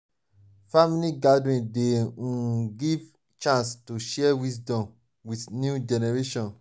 family gathering dey um give chance to share wisdom with new generation.